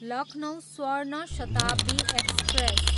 Lucknow Swarna Shatabdi express